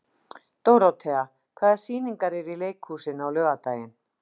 Dórothea, hvaða sýningar eru í leikhúsinu á laugardaginn?